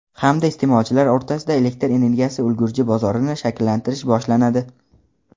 hamda iste’molchilar o‘rtasida elektr energiyasi ulgurji bozorini shakllantirish boshlanadi.